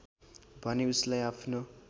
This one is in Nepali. भने उसलाई आफनो